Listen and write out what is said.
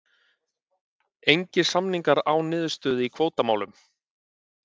Engir samningar án niðurstöðu í kvótamálum